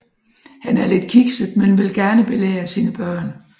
Han er lidt kikset men vil gerne belære sine børn